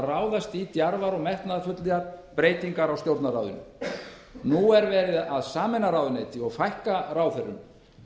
ráðast í djarfar og metnaðarfullar breytingar á stjórnarráðinu nú er verið að sameina ráðuneyti og fækka ráðherrum